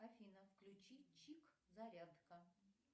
афина включи чик зарядка